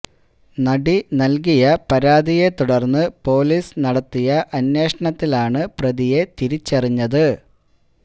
നടി നല്കിയ പരാതിയെ തുടര്ന്ന് പോലീസ് നടത്തിയ അന്വേഷണത്തിലാണ് പ്രതിയെ തിരിച്ചറിഞ്ഞത്